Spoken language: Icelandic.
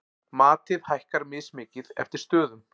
Matið hækkar mismikið eftir stöðum.